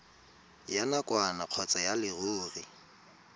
ya nakwana kgotsa ya leruri